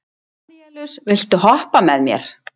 Danelíus, viltu hoppa með mér?